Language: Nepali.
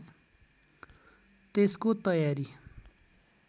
त्यसको तयारी